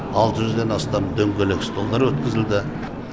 алты жүзден астам дөңгелек столдар өткізілді